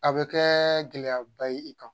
A bɛ kɛɛ gɛlɛyaba ye i kan.